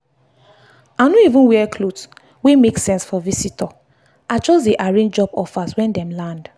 i no even wear cloth wey make sense for visitor i just dey arrange job offers when dem land.